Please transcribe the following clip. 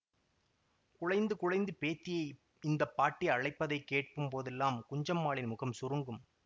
குழைந்து குழைந்து பேத்தியை இந்த பாட்டி அழைப்பதைக் கேட்கும் போதெல்லாம் குஞ்சம்மாளின் முகம் சுருங்கும்